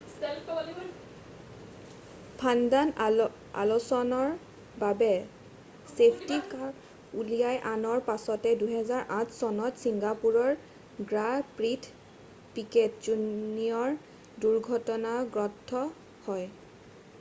ফাৰ্ণ্ডাণ্ড' আলছন'ৰ বাবে safety car উলিয়াই অনাৰ পাছতে 2008 চনত Singapore grand prix Piquet junior দুৰ্ঘটনাগ্ৰস্ত হয়